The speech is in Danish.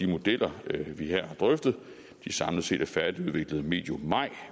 modeller vi her har drøftet samlet set er færdigudviklet medio maj